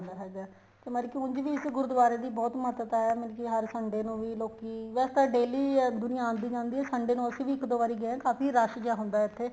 ਆਉਦਾ ਹੈਗਾ ਤੇ ਮਤਲਬ ਕੀ ਉੱਝ ਵੀ ਇਸ ਗੁਰੂਦਵਾਰੇ ਦੀ ਬਹੁਤ ਮਹੱਤਤਾ ਹੈ ਮਤਲਬ ਕੀ ਹਰ Sunday ਨੂੰ ਵੀ ਲੋਕੀਂ ਵੈਸੇ ਤਾਂ daily ਦੁਨੀਆਂ ਆਦੀ ਜਾਂਦੀ ਹੈ Sunday ਨੂੰ ਅਸੀਂ ਵੀ ਇੱਕ ਦੋ ਵਾਰੀ ਗਏ ਹਾਂ ਕਾਫ਼ੀ ਰੱਸ਼ ਜਾ ਹੁੰਦਾ ਹੈ ਇੱਥੇ